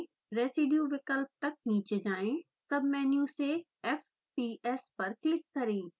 residue विकल्प तक नीचे जाएँ सबमेन्यु से fps पर क्लिक करें